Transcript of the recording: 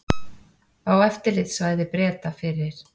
Á eftirlitssvæði Breta fyrir